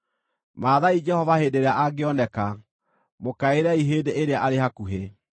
Mathaai Jehova hĩndĩ ĩrĩa angĩoneka; mũkaĩrei hĩndĩ ĩrĩa arĩ hakuhĩ.